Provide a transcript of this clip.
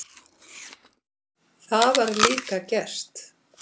Það var líka gert.